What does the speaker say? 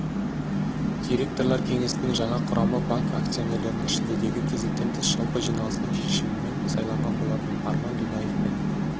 директорлар кеңесінің жаңа құрамы банк акционерлерінің шілдедегі кезектен тыс жалпы жиналысының шешімімен сайланған болатын арман дунаевпен